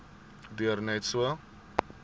duur net so